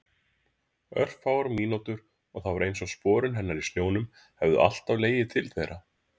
Örfáar mínútur og það var einsog sporin hennar í snjónum hefðu alltaf legið til þeirra.